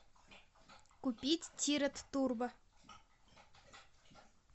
купить тирет турбо